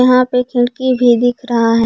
यहां पे खिड़की भी दिख रहा है।